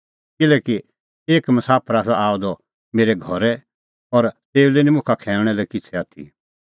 किल्हैकि एक मसाफर आसा आअ द मेरै घरै और तेऊ लै निं मुखा खैऊंणा लै किछ़ै आथी